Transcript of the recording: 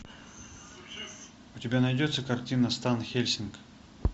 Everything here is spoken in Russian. у тебя найдется картина стан хельсинг